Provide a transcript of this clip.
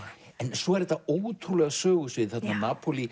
svo er þetta ótrúlega sögusvið